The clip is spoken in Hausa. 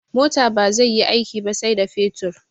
Mota bazai yi aiki ba sai da fetur